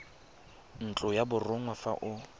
ntlo ya borongwa fa o